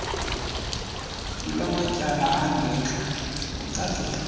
lwamatyala angentla kucacile